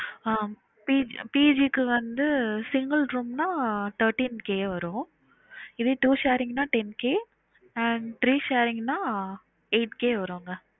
ஹம் PGPG க்கு வந்து single room னா thirteen K வரும் இதுவே two sharing னா ten K and three sharing னா eight K வருங்க